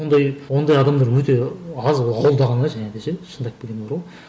ондай ондай адамдар өте аз ауылда ғана және де ше шындап келгенде бар ғой